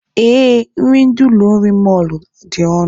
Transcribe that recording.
Ee, nri ndị ụlọ nri mọlụ a dị ọnụ